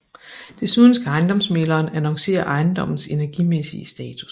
Desuden skal ejendomsmægleren annoncere ejendommens energimæssige status